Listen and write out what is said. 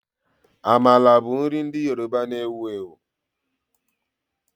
Amala bụ nri ndị Yoruba na-ewu ewu